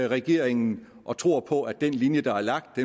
regeringen og tror på at den linje der er lagt